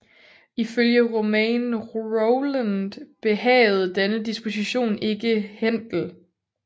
Ifølge Romain Rolland behagede denne dispostion ikke Händel